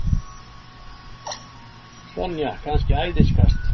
Sonja kannski æðiskast?